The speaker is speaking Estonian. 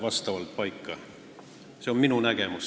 Selline on minu nägemus.